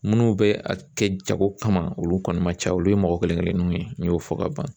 Minnu bɛ a kɛ jago kama olu kɔni ma ca olu ye mɔgɔ kelen kelenninw ye n y'o fɔ ka ban.